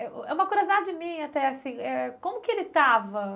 É, é uma curiosidade minha até, assim, eh como que ele estava?